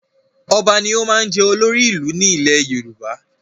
Ọba ni ó máa ń jẹ́ olórí ìlú ní ilẹ̀ Yorùbá